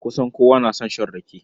Kusan kowa na son shan rake.